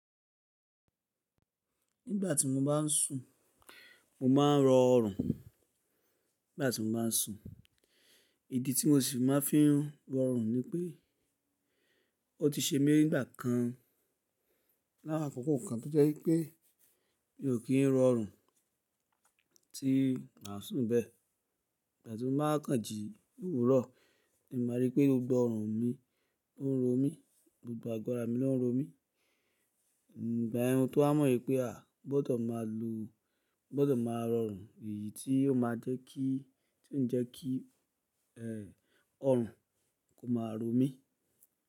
Nígbà tí mo bá ń sùn mo máa ń rọ̀ ọrùn. Nígbà tí mo bá ń sùn, ìdí tí mo sì máa fi ń rọ̀ ọrùn ni pé ó ti ṣe mí nígbà kan lawon akoko kan tó jẹ́ pé mi ò kí ń rọ̀ ọrùn tí mà sùn bẹ́ẹ̀. Ìgbà tí mo bá kàn jí òwúrọ̀, èmi máa rí pé gbogbo ọrùn mi ń ro mí, gbogbo àgbara mi ló ń ro mí. Igba yen ni tó ha mọ̀ pé a gbọdọ̀ máa lo-- gbọdọ̀ máa rọ̀ ọrùn èyí tí ó máa jẹ́ kí, tí ó ń jẹ́ kí, ẹ́, ọrùn kò máa ro mí.